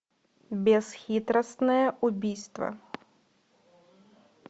бесхитростное убийство